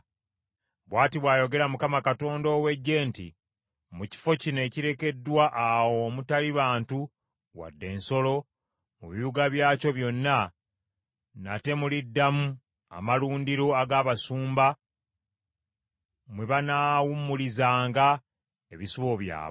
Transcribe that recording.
“Bw’ati bw’ayogera Mukama Katonda ow’Eggye nti, ‘Mu kifo kino ekirekeddwa awo omutali bantu wadde ensolo, mu bibuga byakyo byonna nate muliddamu amalundiro ag’abasumba mwe banaawummulizanga ebisibo byabwe.